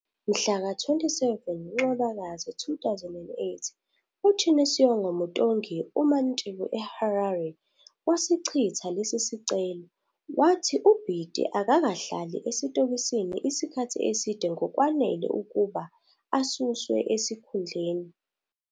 Mhlaka 27 Ncwabakazi 2008, uChioniso Mutongi, umantshi eHarare, wasichitha lesi sicelo, wathi uBiti akakahlali esitokisini isikhathi eside ngokwanele ukuba asuswe esikhundleni.